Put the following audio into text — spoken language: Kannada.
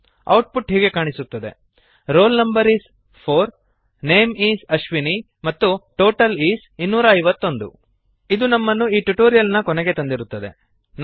ಔಟ್ಪುಟ್ ಹೀಗೆ ಕಾಣಿಸುತ್ತದೆ roll no is 4 name is Ashwini ಮತ್ತು ಟೋಟಲ್ is160 251 ಇದು ನಮ್ಮನ್ನು ಈ ಟ್ಯುಟೋರಿಯಲ್ ನ ಕೊನೆಗೆ ತಂದಿರುತ್ತದೆ